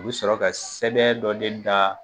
U bɛ sɔrɔ ka sɛbɛn dɔ de da